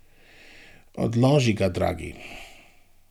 Odloži ga, dragi.